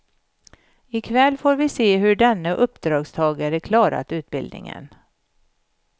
I kväll får vi se hur denne uppdragstagare klarat utbildningen.